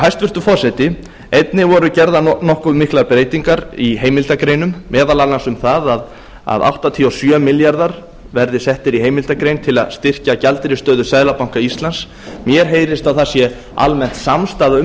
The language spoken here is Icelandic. hæstvirtur forseti einnig voru gerðar nokkuð miklar breytingar í heimildargreinum meðal annars um það að áttatíu og sjö milljarðar verði settir í heimildargrein til að styrkja gjaldeyrisstöðu seðlabanka íslands mér heyrist að það sé almennt samstaða um